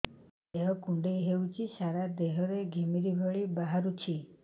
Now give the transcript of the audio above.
ଦେହ କୁଣ୍ଡେଇ ହେଉଛି ସାରା ଦେହ ରେ ଘିମିରି ଭଳି ବାହାରୁଛି